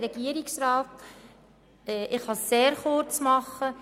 Ich kann mich sehr kurz fassen.